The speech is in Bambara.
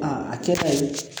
a kɛda ye